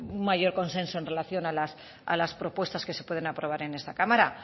pues un mayor consenso en relación a las propuestas que se pueden aprobar en esta cámara